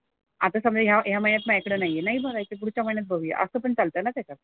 आता तर या या महिन्यात माझ्याकडे नाही आहे नाही भरायचे. पुढच्या महिन्यात भरुया असं पण चालतं ना त्याच्यात.